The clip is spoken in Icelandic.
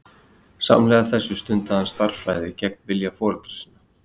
Samhliða þessu stundaði hann stærðfræði gegn vilja foreldra sinna.